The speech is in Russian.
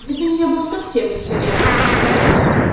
вид у неё был совсем не свирепый